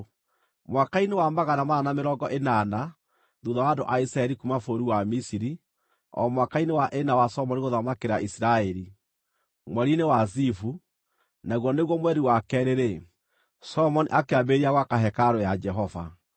Mwaka-inĩ wa magana mana na mĩrongo ĩnana, thuutha wa andũ a Isiraeli kuuma bũrũri wa Misiri, o mwaka-inĩ wa ĩna wa Solomoni gũthamakĩra Isiraeli, mweri-inĩ wa Zivu, naguo nĩguo mweri wa keerĩ-rĩ, Solomoni akĩambĩrĩria gwaka hekarũ ya Jehova.